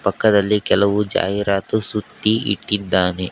ಪಕ್ಕದಲ್ಲಿ ಕೆಲವು ಜಾಹಿರಾತು ಸುತ್ತಿ ಇಕ್ಕಿದ್ದಾನೆ.